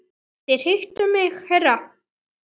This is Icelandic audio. Þú vildir hitta mig herra?